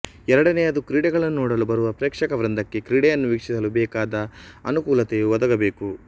ಎರಡನೆಯದು ಕ್ರೀಡೆಗಳನ್ನು ನೋಡಲು ಬರುವ ಪ್ರೇಕ್ಷಕ ವೃಂದಕ್ಕೆ ಕ್ರೀಡೆಯನ್ನು ವೀಕ್ಷಿಸಲು ಬೇಕಾದ ಅನುಕೂಲತೆಯೂ ಒದಗಬೇಕು